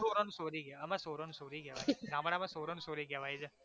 છોરો અને છોરી કેવાય અમારે છોરો ને છોરી કેવાય ગામડામાં છોરો ને છોરી કેવાય છે